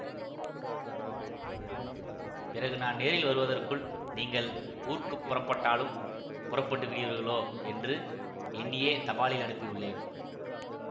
பிறகு நான் நேரில் வருவதற்குள் நீங்கள் ஊர்க்குப் புறப்பட்டாலும் புறப்பட்டு விடுவீர்களோ என்று எண்ணியே தபாலில் அனுப்பியுள்ளேன்